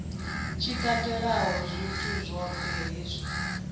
tshi katelaho zwithu zwohe zwi